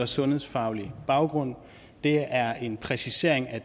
sundhedsfaglig baggrund det er en præcisering af